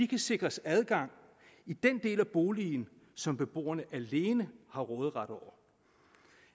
kan sikres adgang i den del af boligen som beboerne alene har råderet over